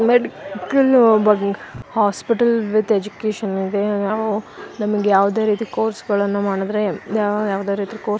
medical hospital with education ಇದೆ ನಾವು ನಮಗೆ ಯಾವುದೇ ರೀತಿ ಕೋರ್ಸ್ ಗಳನ್ನ ಮಾಡಿದ್ರೆ ನಾ ಯಾವುದೇ ರೀತಿ ಕೋರ್ಸ್ --